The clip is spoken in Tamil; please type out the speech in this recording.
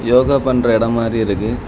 யோகா பன்ட்ர எடோ மாரி இருக்கு.